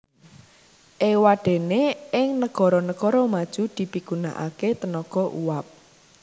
Éwadéné ing negara negara maju dipigunakaké tenaga uap